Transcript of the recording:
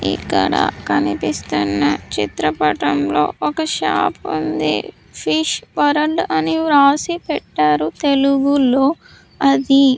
ఇక్కడ కనిపిస్తున్న చిత్రపటంలో ఒక షాప్ ఉంది ఫిష్ వరల్డ్ అని రాసి పెట్టారు తెలుగులో అది.